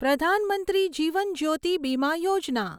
પ્રધાન મંત્રી જીવન જ્યોતિ બીમા યોજના